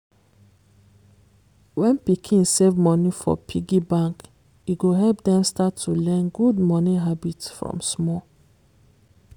when pikin save money for piggy bank e go help dem start to learn good money habit from small